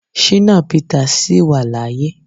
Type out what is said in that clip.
Shina Peter sì wà láyé.